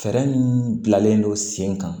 Fɛɛrɛ min bilalen don sen kan